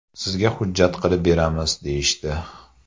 Sizga hujjat qilib beramiz, deyishdi.